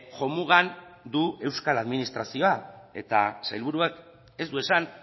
jomugan du euskal administrazioa eta sailburuak ez du esan